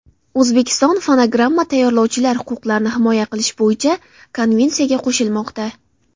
O‘zbekiston fonogramma tayyorlovchilar huquqlarini himoya qilish bo‘yicha konvensiyaga qo‘shilmoqda.